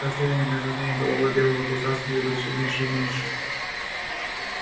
расстояние между ней и головой белого клыка становилось всё меньше и меньше